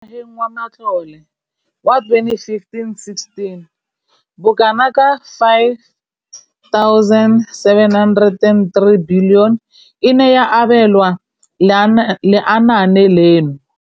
Mo ngwageng wa matlole wa 2015,16, bokanaka R5 703 bilione e ne ya abelwa lenaane leno.